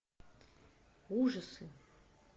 ужасы